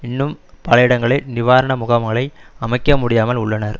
இன்னும் பல இடங்களில் நிவாரண முகாம்களை அமைக்க முடியாமல் உள்ளனர்